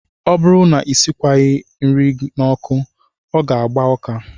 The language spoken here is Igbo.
Ọ bụrụ na e sikwaghị nri n'ọkụ, ọ ga-agba ụka